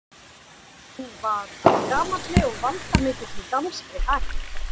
Hann var af gamalli og valdamikilli danskri ætt.